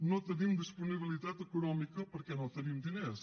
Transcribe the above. no tenim disponibilitat econòmica perquè no tenim diners